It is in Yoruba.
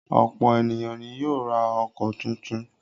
Ọ̀pọ̀ ènìyàn ni yóò ra ọkọ̀ tuntun.